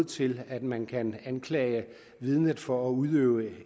til at man kan anklage vidnet for at udøve